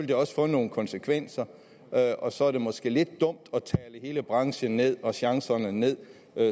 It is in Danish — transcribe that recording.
det også få nogle konsekvenser og så er det måske lidt dumt at tale hele branchen ned og chancerne ned